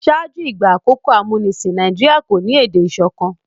ṣáájú ìgbà àkókò amunisin Nàìjíríà kọ ní èdè ìsọkan